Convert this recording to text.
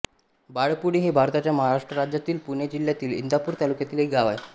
बाळपुडी हे भारताच्या महाराष्ट्र राज्यातील पुणे जिल्ह्यातील इंदापूर तालुक्यातील एक गाव आहे